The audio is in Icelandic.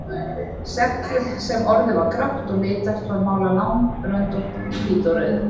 Seglið sem orðið var grátt og litverpt var málað langröndótt í hvítu og rauðu.